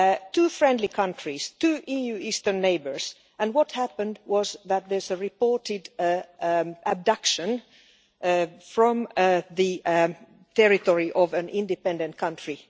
Two friendly countries, two EU eastern neighbours, and what happened was that there was a reported abduction from the territory of an independent country.